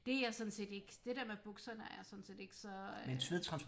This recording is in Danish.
Det er jeg sådan set ikke det dér med bukserne er jeg sådan set ikke så øh